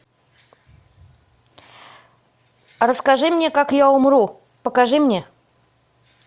расскажи мне как я умру покажи мне